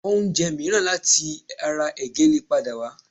Oúnjẹ mìíràn láti ara ẹ̀gẹ́ lè padà wà